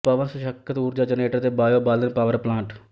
ਪਵਨ ਸਸ਼ੱਕਤ ਊਰਜਾ ਜਨਰੇਟਰ ਤੇ ਬਾੲਓ ਬਾਲਣ ਪਾਵਰ ਪਲਾਂਟ